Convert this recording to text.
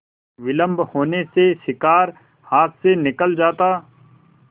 विलम्ब होने से शिकार हाथ से निकल जाता